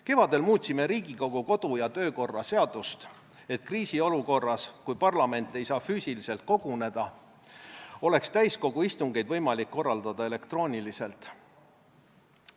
Kevadel muutsime Riigikogu kodu- ja töökorra seadust, et kriisiolukorras, kui parlament ei saa füüsiliselt koguneda, oleks täiskogu istungeid võimalik korraldada elektrooniliselt.